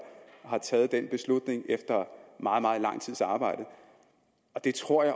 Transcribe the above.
har taget den beslutning efter meget meget lang tids arbejde jeg tror at